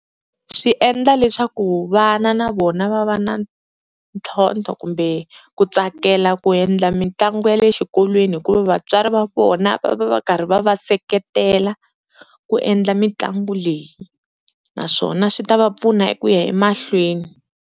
Swi endla leswaku vana na vona va va na ntlhontlho kumbe ku tsakela ku endla mitlangu ya le xikolweni hikuva vatswari va vona va va va karhi va va seketela ku endla mitlangu leyi, naswona swi ta va pfuna eku ya emahlweni.